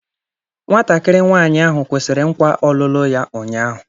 Nwatakịrị nwanyị ahụ kwụsịrị nkwa ọlụlụ ya ụnyahụ.